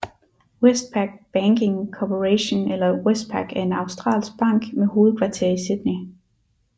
Westpac Banking Corporation eller Westpac er en australsk bank med hovedkvarter i Sydney